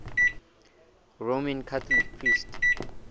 roman catholic priests